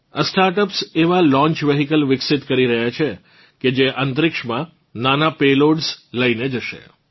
આ સ્ટાર્ટઅપ્સ એવાં launch vehicle વિકસિત કરી રહ્યાં છે કે જે અંતરિક્ષમાં નાનાં પેલોડ્સ લઇને જશે